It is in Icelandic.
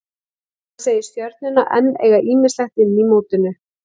Hann segir Stjörnuna enn eiga ýmislegt inni í mótinu.